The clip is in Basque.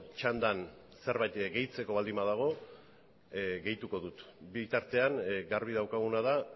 txandan zerbait gehitzeko baldin badago gehituko dut bitartean garbi daukaguna da